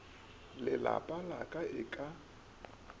lelapa la ka e ka